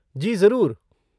जी, ज़रूर।